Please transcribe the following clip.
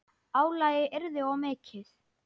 Álagið yrði of mikið.